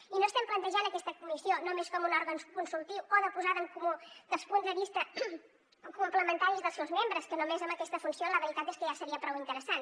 i no estem plantejant aquesta comissió només com un òrgan consultiu o de posada en comú dels punts de vista o complementaris dels seus membres que només amb aquesta funció la veritat és que ja seria prou interessant